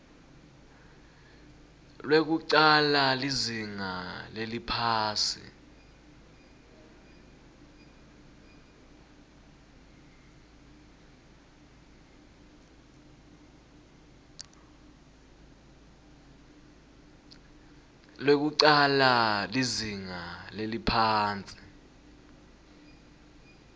lwekucala lizinga leliphasi